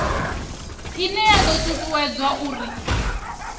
ine ya do tutuwedza uri